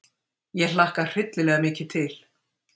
Ég hlakka hryllilega mikið til.